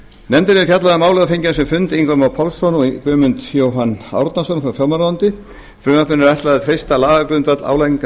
nefndin hefur fjallað um málið og fengið á sinn fund ingva má pálsson og guðmund jóhann árnason frá fjármálaráðuneyti frumvarpinu er ætlað að treysta lagagrundvöll álagningar